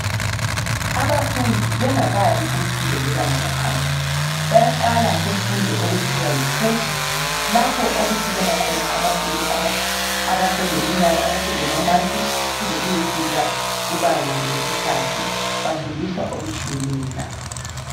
Abafundi bengakayi kumfundo yebanga laphansi bayaqala kumfundo okuthiwa yikreshi lapho okusukela khona abafundi abaseleminyaka abaselamamansi kuze kuyefika kubanga lesithathu bafundisa okutshiyeneyo lapha